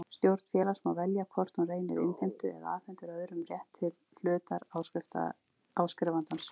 Stjórn félags má velja hvort hún reynir innheimtu eða afhendir öðrum rétt til hlutar áskrifandans.